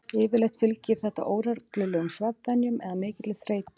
Yfirleitt fylgir þetta óreglulegum svefnvenjum eða mikilli þreytu.